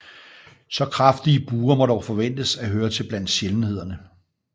Så kraftige buer må dog forventes at høre til blandt sjældenhederne